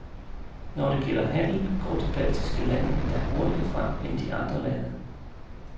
Når det gælder handel, går de baltiske lande endda hurtigere frem end de andre lande.